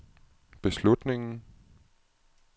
beslutningen